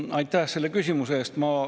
Aitäh selle küsimuse eest!